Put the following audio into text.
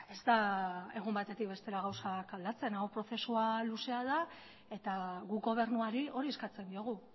ez da egun batetik bestera gauzak aldatzen hau prozesua luzea da eta guk gobernuari hori eskatzen diogu